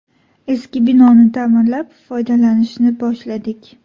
Eski binoni ta’mirlab, foydalanishni boshladik.